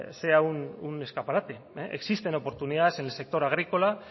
sea un escaparate existen oportunidades en el sector agrícola